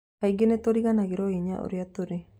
Kaingĩ nĩ tũriganagĩrwo hinya ũrĩa tũrĩ.